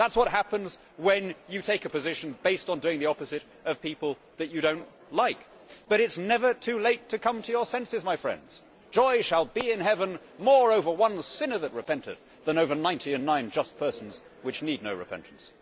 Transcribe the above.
That is what happens when you take a position based on doing the opposite of people that you do not like. But it is never too late to come to your senses, my friends Joy shall be in Heaven over one sinner that repenteth, more than over ninety and nine just persons, which need no repentance.'